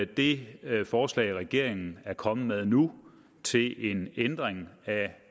det forslag regeringen er kommet med nu til en ændring af